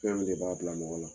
Fɛn min de b'a bila mɔgɔ la.